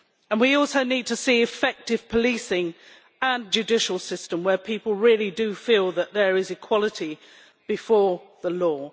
We also need to see effective policing and a judicial system where people really do feel that there is equality before the law.